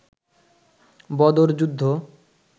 বদর যুদ্ধ